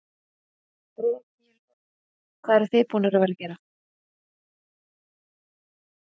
Breki Logason: Hvað eruð þið búnar að vera að gera?